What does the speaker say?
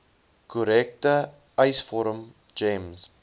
korrekte eisvorm gems